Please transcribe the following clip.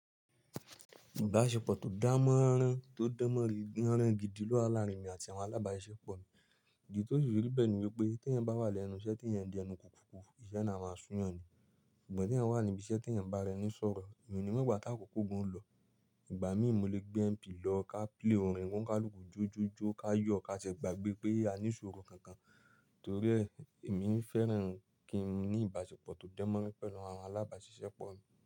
Ìbáṣepọ̀ tó dánmọ́rán tó dánmọ́rán gidi ló wà láàárín mi àti àwọn alábáṣiṣẹ́ pọ̀ mi. Èyí tí ó ṣòro béèni wípé tí ẹ bá wà lẹ́nu iṣẹ́ tí ẹ̀ ń di ẹnu kùkùkù, iṣẹ́ naa a máa sún yàn ni. Ṣùgbọ́n tí ẹ wà níbi iṣẹ́ tí ẹ̀ ń bá rẹni sọ̀rọ̀, mi ò ní mọ̀ ìgbà tí àkókò gùn ń lọ. Ìgbà míì mo lè gbé MP lọ ká play orin kọ́ńkálùkù jó jó jó, ká yọ̀, ká ṣe gbàgbé pé a ní ìṣòrò kankan. Torí ẹ, èmi ń fẹ́ràn kí n ní ìbáṣepọ̀ tó dánmọ́rán pẹ̀lú àwọn alábáṣiṣẹ́ pọ̀ mi.